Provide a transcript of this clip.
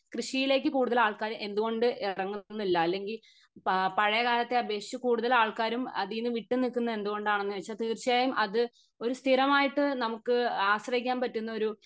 കൃഷിയിലേക്ക് കൂടുതൽ ആൾക്കാർ എന്തുകൊണ്ട് ഇറങ്ങുന്നില്ല അല്ലെങ്കി പഴയ കാലത്തെ അപേക്ഷിച്ച് കൂടുതൽ ആൾക്കാരും അതിന്ന് വിട്ട് നിക്കുന്നെ എന്തുകൊണ്ടാണെന്ന് വെച്ചാ തീർച്ചയായും അത് ഒരു സ്ഥിരമായിട്ട് നമുക്ക് ആശ്രയിക്കാൻ പറ്റുന്ന ഒരു